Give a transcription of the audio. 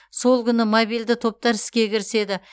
сол күні мобильді топтар іске кіріседі